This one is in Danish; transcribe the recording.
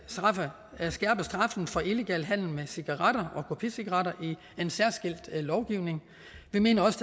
skærpe straffen for illegal handel med cigaretter og kopicigaretter i en særskilt lovgivning vi mener også